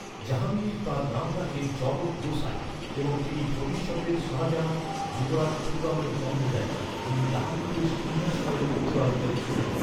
জাহাঙ্গীর তাঁর নাম রাখেন জগৎ গোসাইন, এবং তিনি ভবিষ্যতের শাহজাহান, যুবরাজ খুররামের জন্ম দেন, যিনি জাহাঙ্গীরের সিংহাসনের উত্তরাধিকারী ছিলেন।